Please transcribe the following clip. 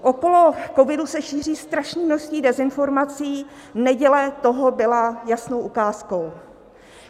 Okolo covidu se šíří strašné množství dezinformací, neděle toho byla jasnou ukázkou.